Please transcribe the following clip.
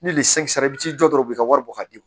Ni sera i bi t'i jɔ dɔrɔn ka wari bɔ ka d'i ma